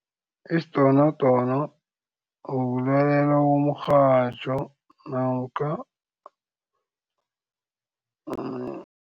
Isidonodono ukulalela umrhatjho namkha